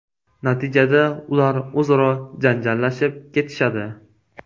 Natijada ular o‘zaro janjallashib ketishadi.